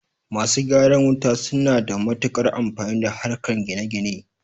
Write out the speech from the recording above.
Masu gyaran wuta suna da matuƙar amfani a harkar gine-gine.